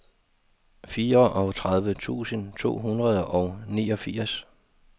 fireogtredive tusind to hundrede og niogfirs